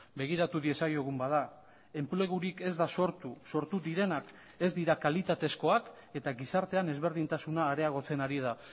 begiratu diezaiogun bada enplegurik ez da sortu sortu direnak ez dira kalitatezkoak eta gizartean ezberdintasuna areagotzen ari da